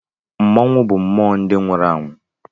Mmọnwụ bụ mmụọ ndị nwụrụ anwụ